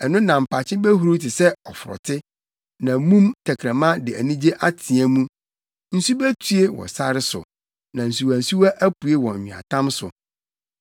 Ɛno na mpakye behuruw te sɛ ɔforote, na mum tɛkrɛma de anigye ateɛ mu. Nsu betue wɔ sare so, na nsuwansuwa apue wɔ nweatam so.